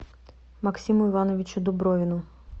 максиму ивановичу дубровину